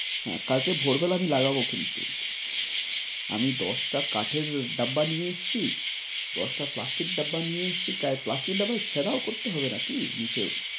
হ্যাঁ কালকে ভোর বেলাতে লাগাবো কিন্তু। আমি দশটা কাঠের ডাব্বা নিয়ে এসেছি, দশটা প্লাস্টিক ডাব্বা নিয়ে এসেছি করান প্লাস্টিক ডাব্বাও ছেদাও করতে হবে নাকি নিচেও।